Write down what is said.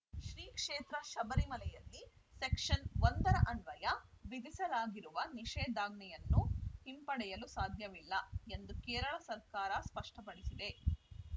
ಶ್ರೀಕ್ಷೇತ್ರ ಶಬರಿಮಲೆಯಲ್ಲಿ ಸೆಕ್ಷನ್‌ ಒಂದರ ಅನ್ವಯ ವಿಧಿಸಲಾಗಿರುವ ನಿಷೇಧಾಜ್ಞೆಯನ್ನು ಹಿಂಪಡೆಯಲು ಸಾಧ್ಯವಿಲ್ಲ ಎಂದು ಕೇರಳ ಸರ್ಕಾರ ಸ್ಪಷ್ಟಪಡಿಸಿದೆ